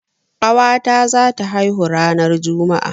Ƙawa ta za ta haihu ranar Juma'a